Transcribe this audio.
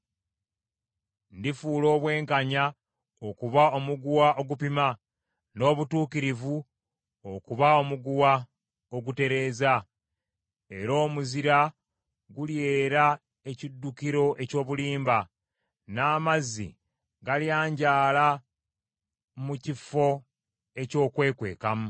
Ndifuula obwenkanya okuba omuguwa ogupima, n’obutuukirivu okuba omuguwa ogutereeza, era omuzira gulyera ekiddukiro ekyobulimba, n’amazzi galyanjaala ku kifo eky’okwekwekamu.